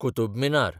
Qutub Minar